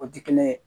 O ti kelen ye